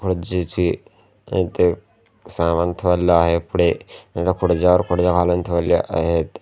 इथे सामान ठेवलेले आहेत पुढे त्याच्या पुढे जाड ठेवलेले आहेत.